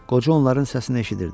Qoca onların səsini eşidirdi.